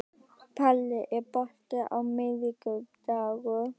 Palli, er bolti á miðvikudaginn?